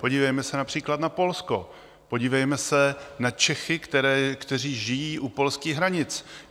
Podívejme se například na Polsko, podívejme se na Čechy, kteří žijí u polských hranic.